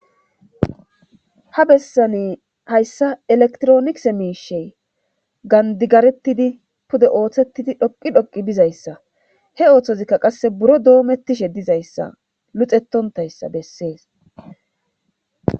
ha bessani hayssa elektronis miishey gandigarettidi pude ooththettidi dhoqi dhoqi bizayssa he ooththozikka qasse buro doomettishe dizayssa luxetontayssa bessees